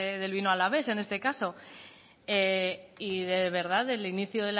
del vino alavés en este caso y de verdad el inicio